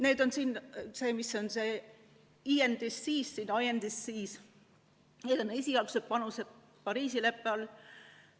Need on siin, see on see INDC –need on esialgsed panused Pariisi leppe raames.